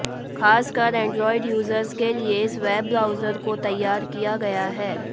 खासकर android users के लिए इस वेब ब्राउजर को तैयार किया गया है